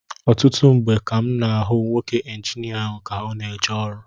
Ọtụtụ mgbe ka m na-ahụ nwoke Injinia ahụ ka ọ na-eje ọrụ